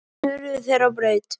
Síðan hurfu þeir á braut.